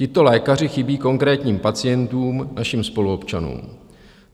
Tito lékaři chybí konkrétním pacientům, našim spoluobčanům.